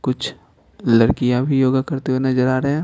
कुछ लड़कियां भी योगा करते हुए नजर आ रहे हैं।